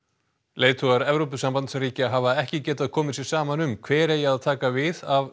leiðtogar Evrópusambandsríkja hafa ekki getað komið sér saman um hver eigi að taka við af